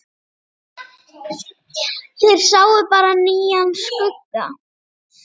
Þeir sáu bara nýjan skugga.